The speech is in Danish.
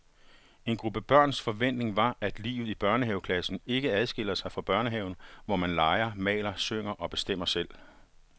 En gruppe børns forventning var, at livet i børnehaveklassen ikke adskiller sig fra børnehaven, hvor man leger, maler, synger og bestemmer selv.